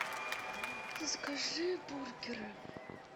закажи бургеры